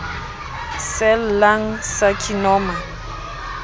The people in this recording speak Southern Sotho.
cell lung carcinoma